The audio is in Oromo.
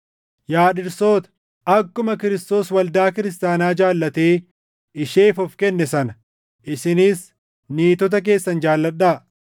Yaa dhirsoota, akkuma Kiristoos waldaa kiristaanaa jaallatee isheef of kenne sana isinis niitota keessan jaalladhaa;